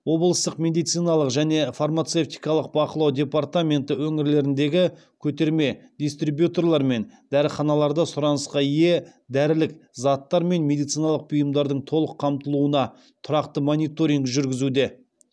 облыстық медициналық және фармацевтикалық бақылау департаменті өңірлеріндегі көтерме дистрибьюторлар мен дәріханаларда сұранысқа ие дәрілік заттар мен медициналық бұйымдардың толық қамтылуына тұрақты мониторинг жүргізуде